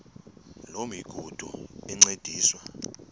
loo migudu encediswa